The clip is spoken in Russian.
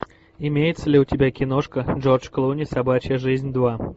имеется ли у тебя киношка джордж клуни собачья жизнь два